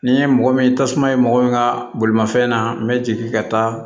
Ni ye mɔgɔ min tasuma ye mɔgɔ min ka bolimafɛn na n bɛ jigin ka taa